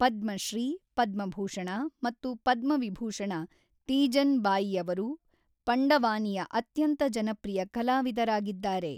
ಪದ್ಮಶ್ರೀ, ಪದ್ಮಭೂಷಣ ಮತ್ತು ಪದ್ಮವಿಭೂಷಣ ತೀಜನ್ ಬಾಯಿಯವರು ಪಂಡವಾನಿಯ ಅತ್ಯಂತ ಜನಪ್ರಿಯ ಕಲಾವಿದರಾಗಿದ್ದಾರೆ.